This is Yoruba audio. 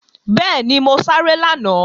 Bẹ́ẹ̀ni, mo sáré lánàá